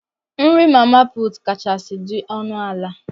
Nri mama put kachasị dị ọnụ ala.